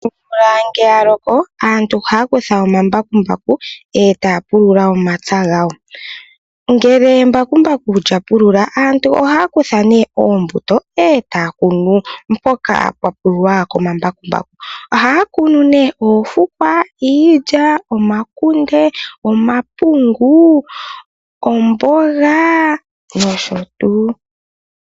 Omvula ngele yaloko aantu ohaya kutha omambakumbaku etaya pulula omapya gawo. Ngele embakumbaku lya pulula aantu ohaya kutha nee oombuto etaya kunu mpoka pwa pululwa komambakumbaku .ohaya kunu nee oofukwa, iilya ,oomakunde, omapungu ,omboga nosho tuu.